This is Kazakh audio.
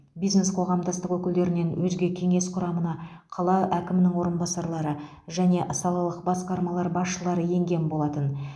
бизнес қоғамдастық өкілдерінен өзге кеңес құрамына қала әкімінің орынбасарлары және салалық басқармалар басшылары енген болатын